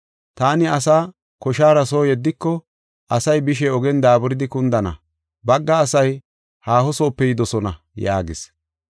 Taani asaa koshara soo yeddiko asay bishe ogen daaburidi kundana, bagga asay haahosoope yidosona” yaagis.